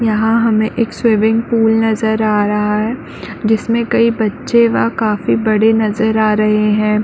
यहाँ हमे एक स्विमिंग पूल नज़र आ रहा है जिसमे कई बच्चे व काफी बड़े नज़र आ रहे है।